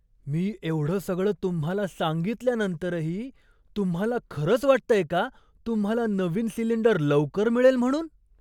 मी एवढं सगळं तुम्हाला सांगितल्यानंतरही तुम्हाला खरंच वाटतंय का तुम्हाला नवीन सिलिंडर लवकर मिळेल म्हणून?